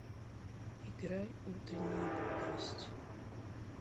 играй утренняя бодрость